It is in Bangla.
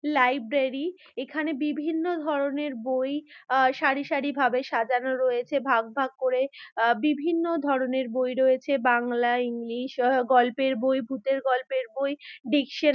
লাইব্রেরি এখানে বিভিন্ন ধরনের বই আ সারি সারি ভাবে সাজানো রয়েছে। ভাগ ভাগ করে আ বিভিন্ন ধরনের বই রয়েছে বাংলা ইংলিশ আ গল্পের বই ভূতের গল্পের বই ডিস্ক - এ--